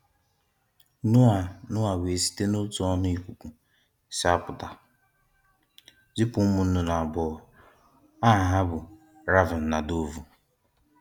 Noah Noah wee site n’òtù ọnụ ìkùkù si apụta, zipu ụmụ nnụnnụ abụọ, aha ha bụ Raven na Dovu.